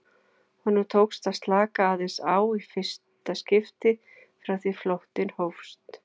Honum tókst að slaka aðeins á í fyrsta skipti frá því flóttinn hófst.